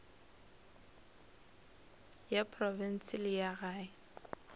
ya profense le ya gae